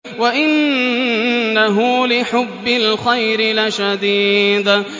وَإِنَّهُ لِحُبِّ الْخَيْرِ لَشَدِيدٌ